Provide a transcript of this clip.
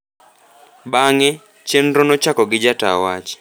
Bang’e, chenro ne ochako gi jata wach